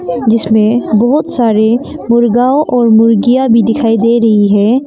जीसमें बहुत सारे मुर्गाओ और मुर्गियां भी दिखाई दे रही है।